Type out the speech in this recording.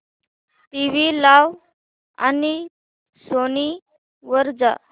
TV लाव आणि Sony वर जा